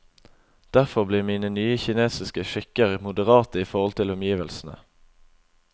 Derfor blir mine nye kinesiske skikker moderate i forhold til omgivelsene.